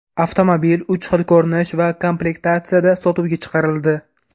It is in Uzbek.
Avtomobil uch xil ko‘rinish va komplektatsiyada sotuvga chiqarildi .